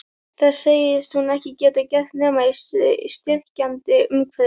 Það segist hún ekki geta gert nema í styrkjandi umhverfi.